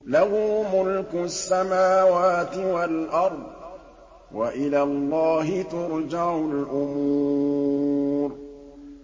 لَّهُ مُلْكُ السَّمَاوَاتِ وَالْأَرْضِ ۚ وَإِلَى اللَّهِ تُرْجَعُ الْأُمُورُ